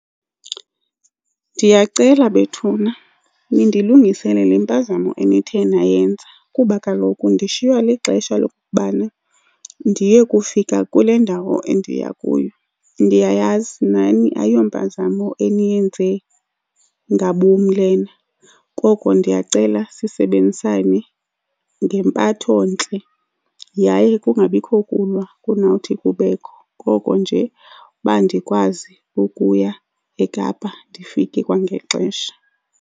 Ndiyacela bethuna nindilungisele le mpazamo enithe nayenza, kuba kaloku ndishiywa lixesha lokokubana ndiye kufika kule ndawo endiya kuyo. Ndiyayazi nani ayiyo mpazamo eniyenze ngabom lena. Koko ndiyacela sisebenzisane ngempathontle yaye kungabikho kulwa kunowuthi kubekho, koko nje uba ndikwazi ukuya eKapa, ndifike kwangexesha.